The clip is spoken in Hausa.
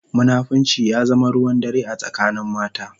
Munafunci ya zama ruwan dare a tsakanin mata.